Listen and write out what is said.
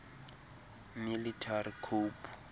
military coup